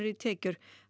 í tekjur